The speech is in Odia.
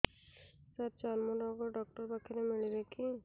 ସାର ଚର୍ମରୋଗ ଡକ୍ଟର ପାଖରେ ମିଳିବେ କି